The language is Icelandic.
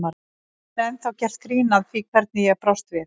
Það er ennþá gert grín að því hvernig ég brást við.